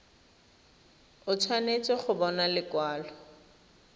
o tshwanetse go bona lekwalo